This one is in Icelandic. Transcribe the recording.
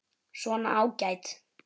Svona, ágætt.